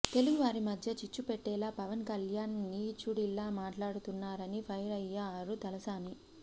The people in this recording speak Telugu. తెలుగువారి మధ్య చిచ్చుపెట్టేలా పవన్ కల్యాణ్ నీచుడిలా మాట్లాడుతున్నారని ఫైర్ అయ్యారు తలసాని